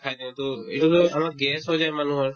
খাই দিওতো এইটো এইটোতো আৰু gas হৈ যায় মানুহৰ